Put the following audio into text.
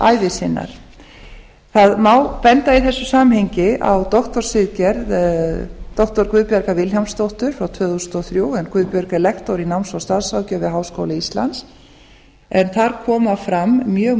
starfsævi sinnar það má í þessu samhengi benda á doktorsritgerð doktor guðbjargar vilhjálmsdóttur frá tvö þúsund og þrjú en guðbjörg er lektor í náms og starfsráðgjöf við háskóla íslands en þar koma fram mjög